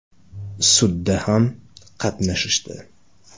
Sudda ham qatnashishdi.